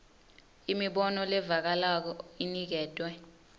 imibono levakalako iniketwe